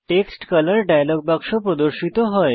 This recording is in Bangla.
টেক্সট কলর ডায়লগ বাক্স প্রদর্শিত হয়